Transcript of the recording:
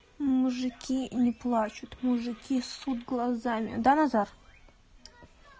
мужики не плачут мужики ссут глазами да назар